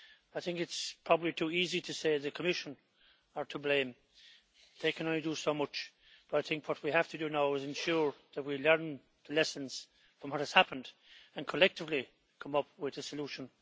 I think it is probably too easy to say the Commission is to blame it can only do so much but I think what we have to do now is ensure that we learn lessons from what has happened and collectively come up with a solution.